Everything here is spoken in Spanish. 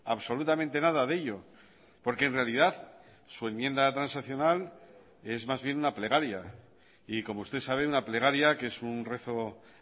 absolutamente nada de ello porque en realidad su enmienda transaccional es más bien una plegaria y como usted sabe una plegaria que es un rezo